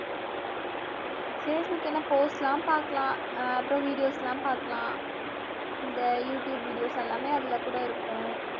facebook என்ன post எல்லாம் பார்க்கலாம் அஹ் அப்புறம் videos எல்லாம் பார்க்கலாம் இந்த you tube videos எல்லாமே அதுல கூட இருக்கும்